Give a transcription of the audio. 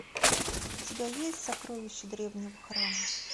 у тебя есть сокровища древнего храма